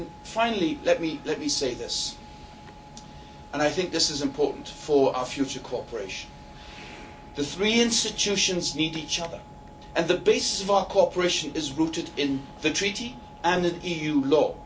Finally, let me say this and I think this is important for our future cooperation the three institutions need each other and the basis of our cooperation is rooted in the Treaty and in EU law.